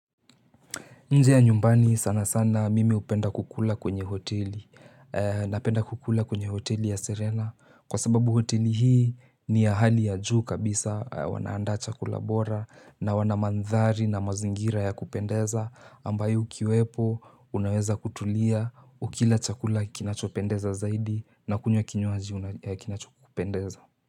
Nje ya nyumbani sana sana mimi hupenda kukula kwenye hoteli napenda kukula kwenye hoteli ya Serena kwa sababu hoteli hii ni ya hali ya juu kabisa wanaanda chakula bora na wanamandhari na mazingira ya kupendeza ambayo ukiwepo unaweza kutulia ukila chakula kinachopendeza zaidi na kunywa kinywaji ya kinachokupendeza.